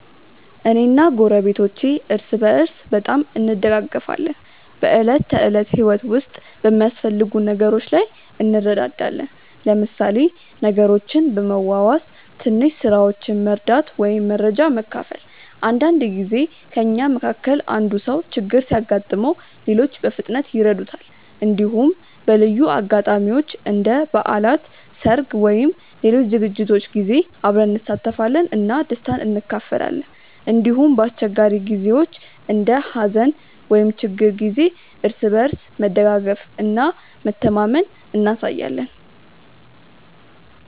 እኔ እና ጎረቤቶቼ እርስ በርስ በጣም እንደጋገፋለን። በዕለት ተዕለት ህይወት ውስጥ በሚያስፈልጉ ነገሮች ላይ እንረዳዳለን፣ ለምሳሌ ነገሮችን በመዋዋስ፣ ትንሽ ስራዎችን መርዳት ወይም መረጃ መካፈል። አንዳንድ ጊዜ ከእኛ መካከል አንዱ ሰው ችግር ሲያጋጥመው ሌሎች በፍጥነት ይረዱታል። እንዲሁም በልዩ አጋጣሚዎች እንደ በዓላት፣ ሰርግ ወይም ሌሎች ዝግጅቶች ጊዜ አብረን እንሳተፋለን እና ደስታን እንካፈላለን። እንዲሁም በአስቸጋሪ ጊዜዎች እንደ ሀዘን ወይም ችግር ጊዜ እርስ በርስ መደጋገፍ እና መተማመን እናሳያለን።